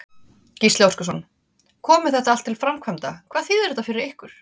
Gísli Óskarsson: Komi þetta allt til framkvæmda, hvað þýðir þetta fyrir ykkur?